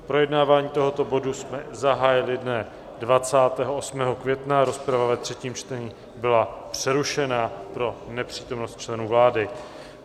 Projednávání tohoto bodu jsme zahájili dne 28. května, rozprava ve třetím čtení byla přerušena pro nepřítomnost členů vlády.